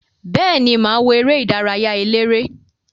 Beeni, maa wo ere idaraya elere.